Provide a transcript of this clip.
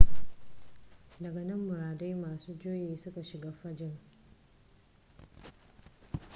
daga nan muridai masu juyi suka shiga fagen